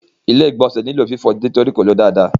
Ilé-ìgbọ̀nsẹ̀ nílò fífọ̀ nítorí kò ló dáadáa.